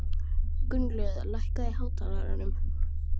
Gunnlöð, hækkaðu í hátalaranum.